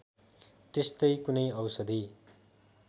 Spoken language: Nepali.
त्यस्तै कुनै औषधि